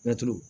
Mɛtiri